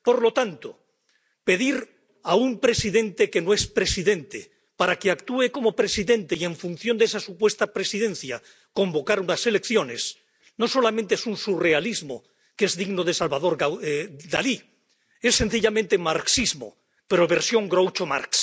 Por lo tanto, pedir a un presidente que no es presidente que actúe como presidente y, en función de esa supuesta presidencia, convocar unas elecciones no solamente es un surrealismo digno de Salvador Dalí es sencillamente marxismo, pero en versión Groucho Marx.